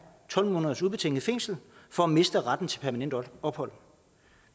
tolv måneders ubetinget fængsel for at miste retten til permanent ophold